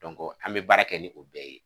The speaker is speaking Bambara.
an bɛ baara kɛ ni u bɛɛ ye.